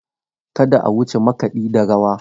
Kada a wuce makaɗi da rawa.